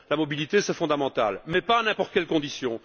La mobilité est fondamentale, mais pas à n'importe quelles conditions.